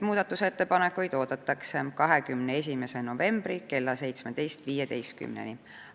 Muudatusettepanekuid oodatakse 21. novembri kella 17.15-ni.